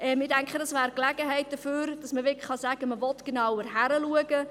Ich denke, das wäre die Gelegenheit dafür, dass man wirklich sagen kann, man wolle genauer hinschauen.